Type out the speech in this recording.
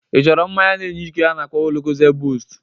Ị chọrọ mmanya na-enye ike a na-akpọ Locozed Bost?